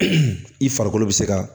i farikolo bɛ se ka